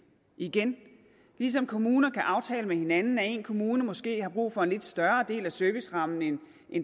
igen ligesom kommuner kan aftale med hinanden at en kommune måske har brug for en lidt større del af servicerammen end